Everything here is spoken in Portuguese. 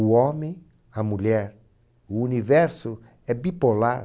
O homem, a mulher, o universo é bipolar.